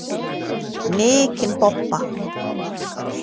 Mikinn bobba.